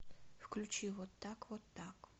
включи вот так вот так